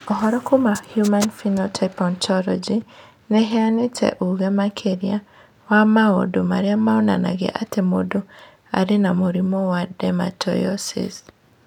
Ũhoro kuma Human Phenotype Ontology nĩ ĩheanĩte ũge makĩria wa maũndũ marĩa monanagia atĩ mũndũ arĩ na mũrimũ wa Dermatomyositis.